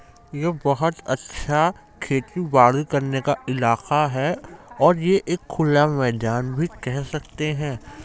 यह बहुत अच्छा खेती-बाड़ी करने का इलाका है और ये एक खुला मैदान भी कह सकते हैं।